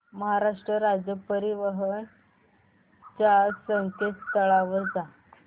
महाराष्ट्र राज्य परिवहन च्या संकेतस्थळावर जा